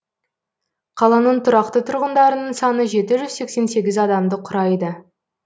қаланың тұрақты тұрғындарының саны жеті жүз сексен сегіз адамды құрайды